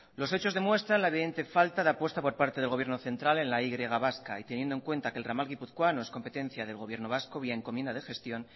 los hechos demuestran la evidente falta de apuesta por parte del gobierno central en la y vasca y teniendo en cuenta que el ramal guipuzcoano es competencia del gobierno vasco vía encomienda de gestión